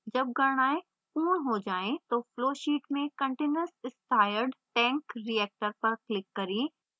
जब गणनाएं पूर्ण हो जाएँ तो flowsheet में continuous stirred tank reactor पर click करें